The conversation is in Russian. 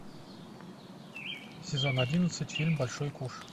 сезон одиннадцать фильм большой куш